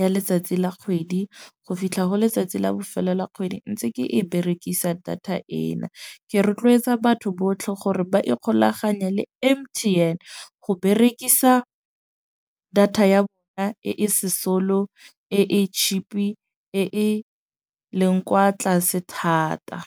ya letsatsi la kgwedi go fitlha go letsatsi la bofelo la kgwedi, ntse ke e berekisa data ena. Ke rotloetsa batho botlhe gore ba ikgolaganye le M_T_N go berekisa data ya bona e sesolo e e cheap-i, e e leng kwa tlase thata.